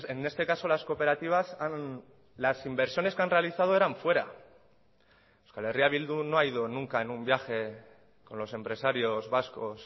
en este caso las cooperativas las inversiones que han realizado eran fuera euskal herria bildu no ha ido nunca en un viaje con los empresarios vascos